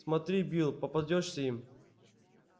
смотри билл попадёшься им